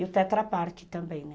E o trata pak também, né?